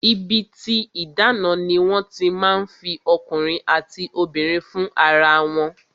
Ibi tí ìdáná ni wọ́n ti máa ń fi ọkùnrin àti obìnrin fún ara wọn